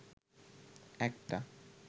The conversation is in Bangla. একটা